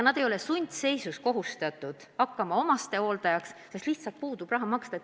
Nad ei ole sundseisus ega kohustatud hakkama lähedase inimese hooldajaks põhjusel, et neil lihtsalt pole raha hooldekodu eest maksta.